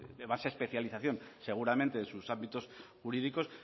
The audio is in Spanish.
más especialización seguramente en sus ámbitos jurídicos